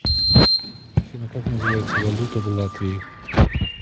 афина как называется валюта в латвии